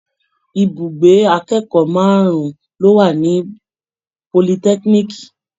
Ibùgbé akẹ́kọ̀ọ́ márùn-ún ló wà ní politẹ́kínííkì.